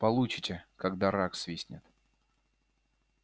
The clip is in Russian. получите когда рак свистнет